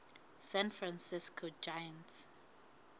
san francisco giants